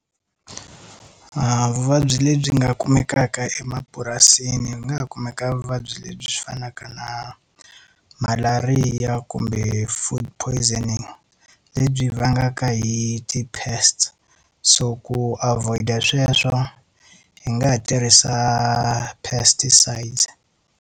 Vuvabyi lebyi nga kumekaka emapurasini ku nga ha kumeka vuvabyi lebyi byi fanaka na malariya kumbe food poisoning. Lebyi vangaka hi ti-pests so ku avoid-a sweswo hi nga ha tirhisa pesticides.